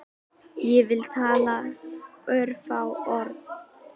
Ég vil tala örfá orð